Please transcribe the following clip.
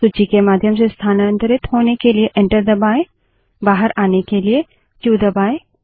सूची के माध्यम से स्थानांतरित होने के लिए एंटर दबायें बाहर आने के लिए क्यू क्यू दबायें